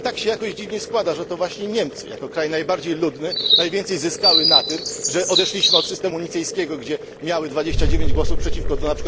Ale tak się jakoś dziwnie składa, że to właśnie Niemcy jako kraj najbardziej ludny, najwięcej zyskały na tym, że odeszliśmy od systemu nicejskiego, w ramach którego miały 29 głosów przeciwko np.